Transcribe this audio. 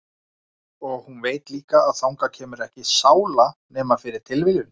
Og hún veit líka að þangað kemur ekki sála nema fyrir tilviljun.